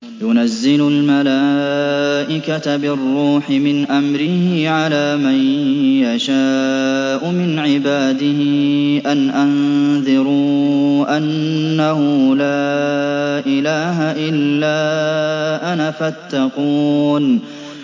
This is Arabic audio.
يُنَزِّلُ الْمَلَائِكَةَ بِالرُّوحِ مِنْ أَمْرِهِ عَلَىٰ مَن يَشَاءُ مِنْ عِبَادِهِ أَنْ أَنذِرُوا أَنَّهُ لَا إِلَٰهَ إِلَّا أَنَا فَاتَّقُونِ